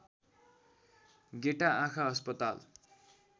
गेटा आँखा अस्पताल